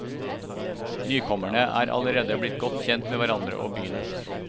Nykommerne er allerede blitt godt kjent med hverandre og byen.